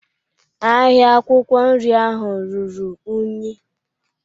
Ahịa akwụkwọ nri ahụ ruru unyi.